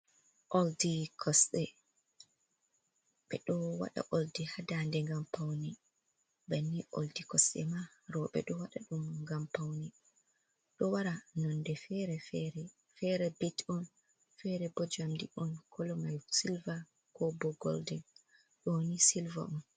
Oldi kosde ɓe ɗo waɗa oldi ha ndande gam paune banni oldi kosde ma rooɓe ɗo waɗa ɗum ngam paune ɗo wara nonde feere bit on fere bo jamdi on kolo mai silver ko bo goldin ɗo ni silva on.